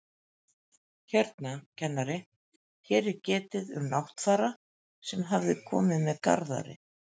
Hérna, kennari, hér er getið um Náttfara sem hafi komið með Garðari